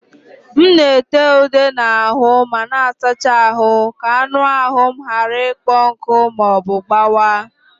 M na-ete ude na ahụ ma m sachaa ahụ ka anụ ahụ m ghara ịkpọ nkụ ma ọ bụ gbawa.